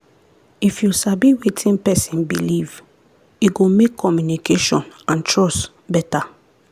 if you sabi wetin person believe e go make communication and trust better.